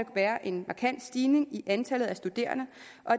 være en markant stigning i antallet af studerende